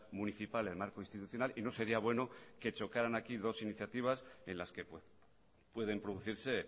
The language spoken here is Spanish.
municipal el marco institucional y no sería bueno que chocaran aquí dos iniciativas en las que pueden producirse